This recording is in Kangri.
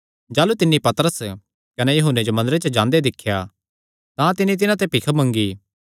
जाह़लू तिन्नी पतरस कने यूहन्ने जो मंदरे च जांदे दिख्या तां तिन्नी तिन्हां ते भी भिख मंगी